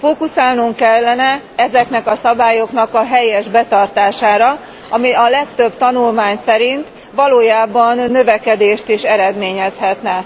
Fókuszálnunk kellene ezeknek a szabályoknak a helyes betartására, ami a legtöbb tanulmány szerint valójában növekedést is eredményezhetne.